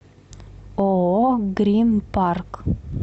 ооо грин парк